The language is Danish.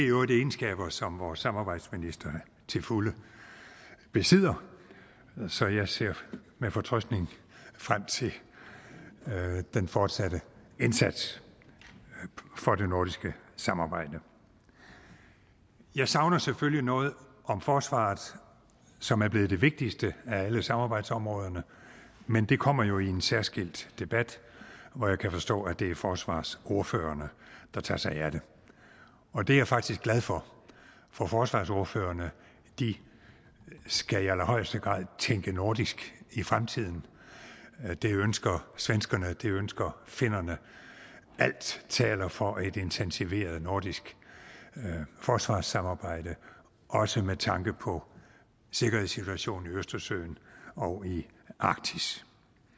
øvrigt egenskaber som vores samarbejdsminister til fulde besidder så jeg ser med fortrøstning frem til den fortsatte indsats for det nordiske samarbejde jeg savner selvfølgelig noget om forsvaret som er blevet det vigtigste af alle samarbejdsområderne men det kommer jo i en særskilt debat hvor jeg kan forstå at det er forsvarsordførerne der tager sig af det og det er jeg faktisk glad for for forsvarsordførerne skal i allerhøjeste grad tænke nordisk i fremtiden det ønsker svenskerne og det ønsker finnerne alt taler for et intensiveret nordisk forsvarssamarbejde også med tanke på sikkerhedssituationen i østersøen og i arktis